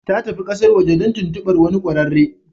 Ta tafi kasar waje don tuntubar wani kwararre.